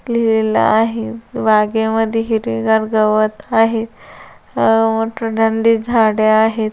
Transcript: लिहलेल आहेत बागे मध्ये हिरवीगार गवत आहे अह- मोठ-मोठाली झाडे आहेत.